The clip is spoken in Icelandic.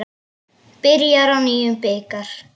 Byrjar á nýjum bikar.